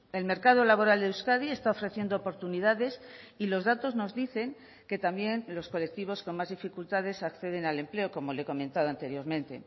el mercado laboral de euskadi está ofreciendo oportunidades y los datos nos dicen que también los colectivos con más dificultades acceden al empleo como le he comentado anteriormente